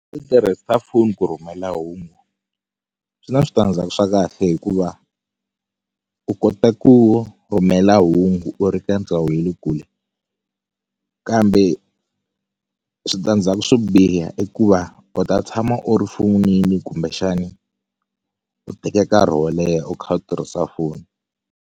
U tirhisa foni ku rhumela hungu swi na switandzhaku swa kahle hikuva u kota ku rhumela hungu u ri ka ndhawu ya le kule kambe switandzhaku swo biha i ku va u ta tshama u ri fonini kumbexani u teke nkarhi wo leha u kha u tirhisa foni.